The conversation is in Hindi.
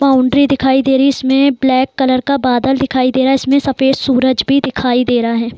बाउंड्री दिखाई दे रही है इसमें ब्लैक कलर का बादल दिखाई दे रहा है इसमें सफ़ेद सूरज भी दिखाई दे रहा है।